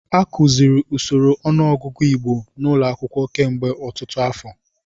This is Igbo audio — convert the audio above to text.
A kụziri usoro ọnụọgụgụ Igbo n'ụlọ akwụkwọ kemgbe ọtụtụ afọ.